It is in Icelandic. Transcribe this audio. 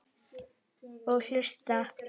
Og hlusta.